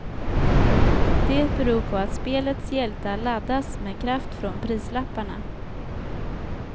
Det beror på att spelets hjältar laddas med kraft från prislapparna.